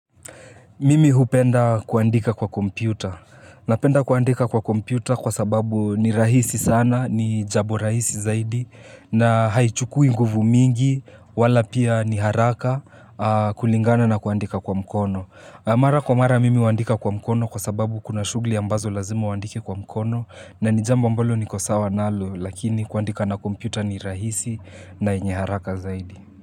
Mimi hupenda kuandika kwa kompyuta. Napenda kuandika kwa kompyuta kwa sababu ni rahisi sana, ni jambo rahisi zaidi. Na haichukui nguvu mingi, wala pia ni haraka kulingana na kuandika kwa mkono. Mara kwa mara mimi huandika kwa mkono kwa sababu kuna shughuli ambazo lazima uandike kwa mkono. Na ni jambo ambalo niko sawa nalo, lakini kuandika na kompyuta ni rahisi na yenye haraka zaidi.